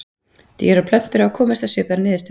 Dýr og plöntur hafa komist að svipaðri niðurstöðu.